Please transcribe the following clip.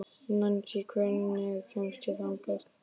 Nansý, hvernig kemst ég þangað?